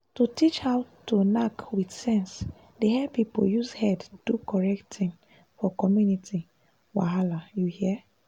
to teach how to knack with sense dey help people use head do correct thing for community wahala you hear?+